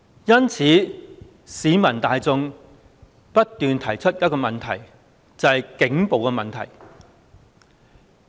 因此，市民大眾不斷提出一個問題，就是警暴的問題。